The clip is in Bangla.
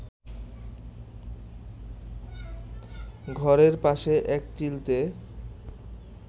ঘরের পাশে এক চিলতে